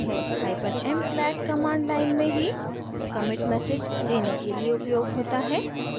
hyphen m flag command line में ही commit message देने के लिए उपयोग होता है